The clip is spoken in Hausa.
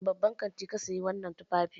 A wani babban kanti ka saye wannan tufafi?